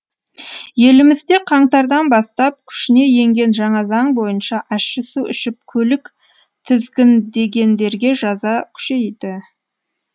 елімізде қаңтардан бастап күшіне енген жаңа заң бойынша ащы су ішіп көлік тізгіндегендерге жаза күшейді